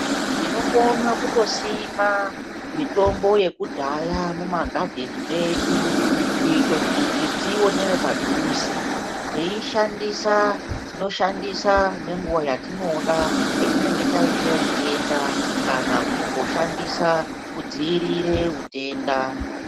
Tinokona kutosima mitombo yekudhaya mumagadheni medu kuita kuti tionere padhuze teishandisa tinoshandisa nenguwa yatinoda patinenge taita utenda kana kungoshandisa kudzivirira utenda.